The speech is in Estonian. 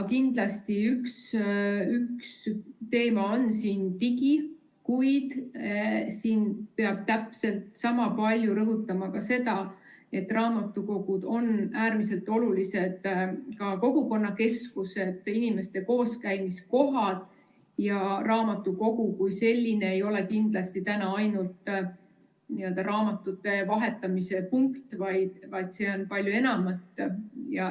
Kindlasti üks teema on digivaldkond, kuid siin peab täpselt sama palju rõhutama ka seda, et raamatukogud on ka äärmiselt olulised kogukonnakeskused, inimeste kooskäimise kohad ja raamatukogu kui selline ei ole kindlasti täna ainult raamatute vahetamise punkt, vaid see on palju enamat.